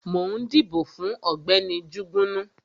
Mo ń dìbò fún Ọ̀gbẹ́ni Jugunu